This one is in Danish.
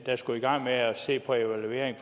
skulle i gang med at se på en evaluering